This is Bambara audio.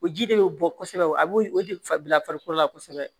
O ji de bɛ bɔ kosɛbɛ a b'o o de bila farikolo la kosɛbɛ